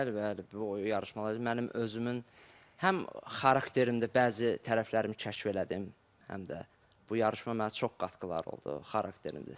Bəli, bəli, bu yarışmalar mənim özümün həm xarakterimdə bəzi tərəflərimi kəşf elədim, həm də bu yarışma mənə çox qatqıları oldu xarakterimdə.